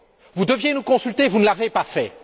Vous deviez nous consulter, vous ne l'avez pas fait.